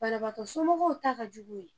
Banabaatɔ somɔgɔw ta ka jugu o ye